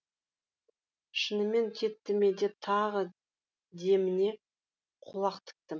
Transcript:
шынымен кетті ме деп тағы деміне құлақ тіктім